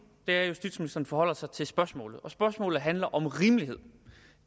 er at justitsministeren forholder sig til spørgsmålet spørgsmålet handler om rimelighed